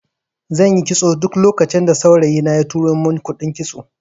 Zanyi kitson duk lokacin da saurayi na ya tura mun kuɗin kitso